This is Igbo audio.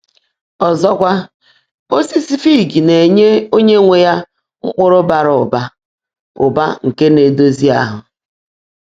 Ọzọkwa, osisi fig na-enye onye nwe ya mkpụrụ bara ụba ụba nke na-edozi ahụ.